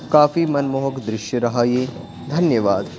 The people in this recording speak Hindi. काफी मनमोहक दृश्य रहा यह धन्यवाद--